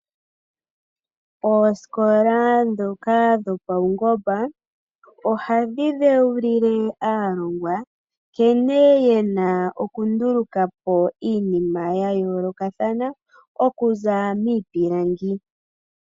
Oosikola dhoka dhopaungomba ohadhi dhewulile aalongwa nkene yena okunduluka po iinima yayoolokathana okuzilila miipilangi.